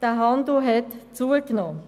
Der Handel hat zugenommen.